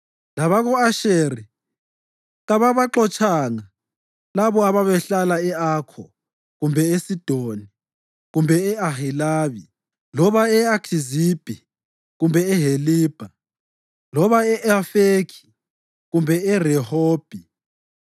Labako-Asheri kababaxotshanga labo ababehlala e-Akho, kumbe eSidoni, kumbe e-Ahilabi loba e-Akhizibhi kumbe eHelibha loba e-Afekhi kumbe eRehobhi,